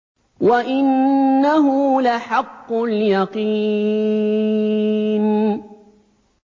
وَإِنَّهُ لَحَقُّ الْيَقِينِ